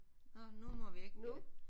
Nåh nu må vi ikke